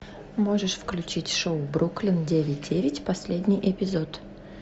можешь включить шоу бруклин девять девять последний эпизод